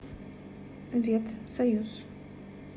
ветсоюз